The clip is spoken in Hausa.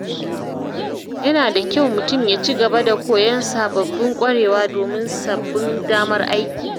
Yana da kyau mutum ya ci gaba da koyon sababbin ƙwarewa domin sabbin damar aiki.